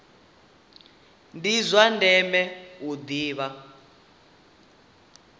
ndi zwa ndeme u ḓivha